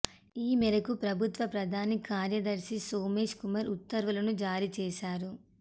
ఈ మేరకు ప్రభుత్వ ప్రధాన కార్యదర్శి సోమేష్ కుమార్ ఉత్తర్వులను జారీ చేశారు